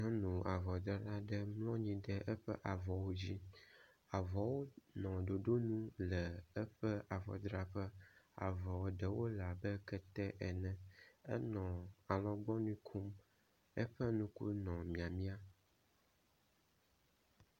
nyɔnu avɔdrala ɖe mlɔnyi ɖe eƒe avɔwo dzi avɔwo nɔ ɖoɖonu le eƒe avɔdraƒe avɔ eɖewo nɔ abe ketewo ene enɔ alɔgbɔŋui kom eƒe nuku nɔ miamia